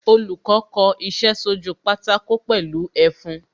Olùkọ́ kò iṣẹ́ sójú pátákó pẹ̀lú ẹfun